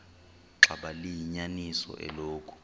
xaba liyinyaniso eloku